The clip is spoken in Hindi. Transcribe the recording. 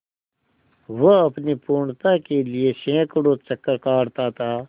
वह अपनी पूर्णता के लिए सैंकड़ों चक्कर काटता था